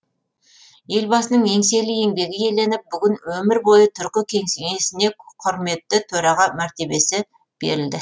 елбасының еңселі еңбегі еленіп бүгін өмір бойы түркі кеңсенесіне құрметті төраға мәртебесі берілді